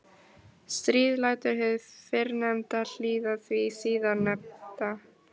Stríð lætur hið fyrrnefnda hlýða því síðarnefnda.